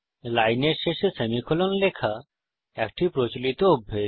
লাইনের শেষে সেমিকোলন লেখা একটি প্রচলিত অভ্যাস